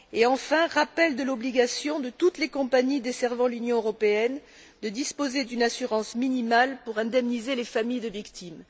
enfin, du rappel de l'obligation de toutes les compagnies desservant l'Union européenne de disposer d'une assurance minimale pour indemniser les familles de victimes.